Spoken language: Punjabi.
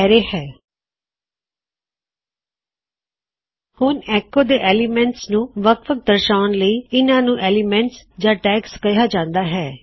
ਹੁਣ ਅਰੈ ਦੇ ਅੰਦਰ ਇੱਕ ਵਿਸ਼ੇਸ਼ ਐੱਲਿਮੈਨਟ ਨੂੰ ਪੁਕਾਰਨ ਲਈ ਤੁਸੀਂ ਉਸਨੂੰ ਐੱਲਿਮੈਨਟ ਵੀ ਪੁਕਾਰਨਾ ਚਾਹੁੰਦੇ ਹੋ ਸਕਦੇ ਹੋਂ ਪਰ ਕਈ ਜਗ੍ਹਾ ਤੇ ਉਹਨਾ ਨੂੰ ਇਦ ਟੈਗਸ ਯਾ ਐੱਲਿਮੈਨਟ ਆਫ ਅਰੈ ਕਿਹਾ ਜਾਂਦਾ ਹੈ